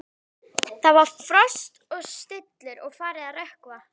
Það var frost og stillur og farið að rökkva.